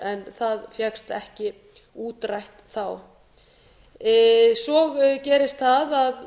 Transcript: en það fékkst ekki útrætt þá svo gerist það að